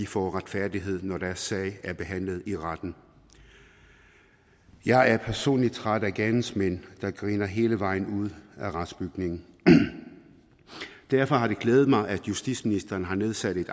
fået retfærdighed når deres sag er behandlet i retten jeg er personligt træt af gerningsmænd der griner hele vejen ud af retsbygningen derfor har det glædet mig at justitsministeren har nedsat en